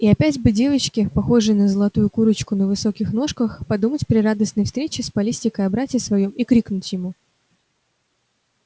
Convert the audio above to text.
и опять бы девочке похожей на золотую курочку на высоких ножках подумать при радостной встрече с палестинкой о брате своём и крикнуть ему